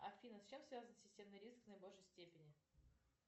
афина с чем связан системный риск в наибольшей степени